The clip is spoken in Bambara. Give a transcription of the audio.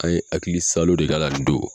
An ye hakilisalo de k'a la nin don !